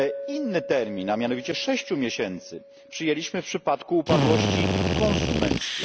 Inny termin, a mianowicie sześciu miesięcy, przyjęliśmy w przypadku upadłości konsumenckiej.